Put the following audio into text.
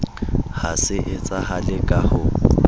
ha se etsahale ka ho